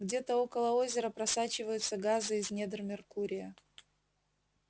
где-то около озера просачиваются газы из недр меркурия